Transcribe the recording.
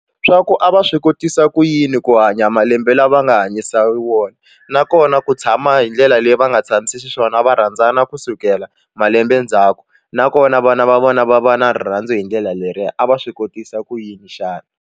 Swa ku a va swi kotisa ku yini ku hanya malembe lama nga hanyisa wona nakona ku tshama hi ndlela leyi va nga tshamisi xiswona va rhandzana ku sukela malembe ndzhaku nakona vana va vona va va na rirhandzu hi ndlela leriya a va swi kotisa ku yini xana.